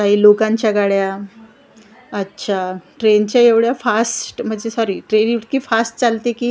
काही लोकांच्या गाड्या अच्छा ट्रेन च्या एवढ्या फास्ट म्हणजे सॉरी ट्रेन इतकी फास्ट चालते की--